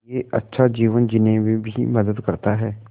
यह अच्छा जीवन जीने में भी मदद करता है